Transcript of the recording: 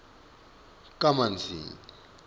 kamanzini